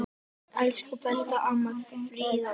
Elsku besta amma Fríða.